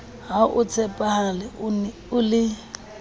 ha o tshepahale o le